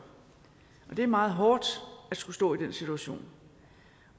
det er meget hårdt at skulle stå i den situation